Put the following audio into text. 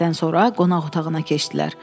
Yeməkdən sonra qonaq otağına keçdilər.